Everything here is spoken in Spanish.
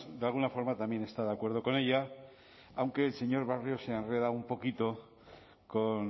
de alguna forma también está de acuerdo con ella aunque el señor barrio se ha enredado un poquito con